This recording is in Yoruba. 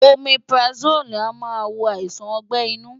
Omeprazole a máa wo àìsàn ọgbẹ́ inú.